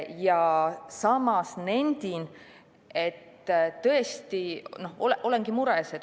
Ja samas nendin, et tõesti olengi mures.